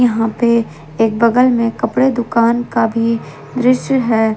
यहां पे एक बगल में कपड़े के दुकान का भी दृश्य है।